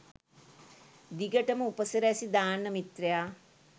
දිගටම උපසිරැසි දාන්න මිත්‍රයා